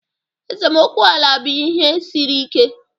Esemokwu ala bụ ihe siri ike.